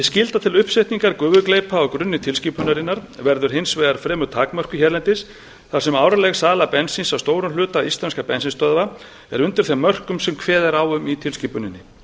skylda til uppsetningar gufugleypa á grunni tilskipunarinnar verður hins vegar fremur takmörkuð hérlendis þar sem árleg sala bensíns á stórum hluta íslenskra bensínstöðva er undir þeim mörkum sem kveðið er á um í tilskipuninni